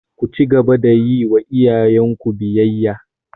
Ku cigaba da yiwa iyayen ku biyayya!